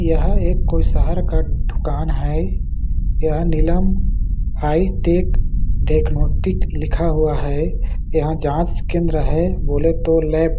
यह एक कोई शहर का दुकान है यह नीलम हाई टेक डेकनोटिक लिखा हुआ है यहां जांच केंद्र है बोले तो लैब --